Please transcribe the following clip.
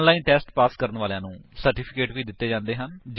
online test pass ਕਰਨ ਵਾਲਿਆਂ ਨੂੰ ਪ੍ਰਮਾਣ ਪੱਤਰ ਵੀ ਦਿੰਦੇ ਹਨ